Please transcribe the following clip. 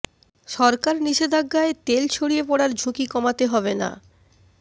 সরকার নিষেধাজ্ঞায় তেল ছড়িয়ে পড়ার ঝুঁকি কমাতে হবে না